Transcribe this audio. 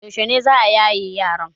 Yaushe ne za a yaye yaron?